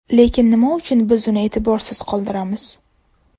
Lekin nima uchun biz uni e’tiborsiz qoldiramiz?